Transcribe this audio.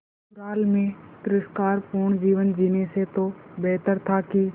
ससुराल में तिरस्कार पूर्ण जीवन जीने से तो बेहतर था कि